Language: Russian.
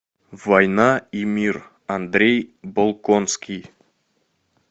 война и мир андрей болконский